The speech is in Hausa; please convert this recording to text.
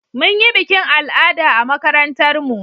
Mun yi bikin al'ada a makarantar mu